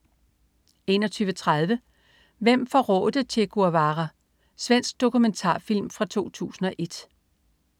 21.30 Hvem forrådte Che Guevara? Svensk dokumentarfilm fra 2001